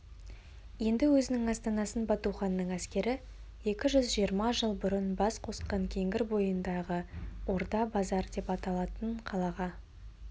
енді өзінің астанасын батуханның әскері екі жүз жиырма жыл бұрын бас қосқан кеңгір бойындағы орда-базар деп аталатын қалаға